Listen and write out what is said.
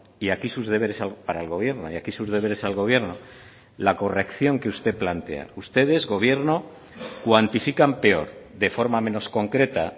y aquí sus deberes para el gobierno y aquí sus deberes al gobierno la corrección que usted plantea ustedes gobierno cuantifican peor de forma menos concreta